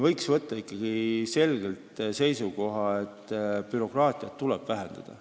Võiks võtta ikkagi selge seisukoha, et bürokraatiat tuleb vähendada.